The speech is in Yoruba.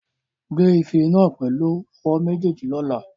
Gbé ife náà pẹ̀lú ọwọ́ méjèèjì lọ́la.